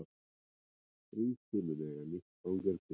Ríkið mun eiga nýtt fangelsi